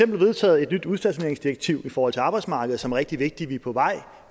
vedtaget et nyt udstationeringsdirektiv i forhold til arbejdsmarkedet som er rigtig vigtigt vi er på vej